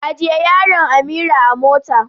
Ajiye yaron Amira a mota.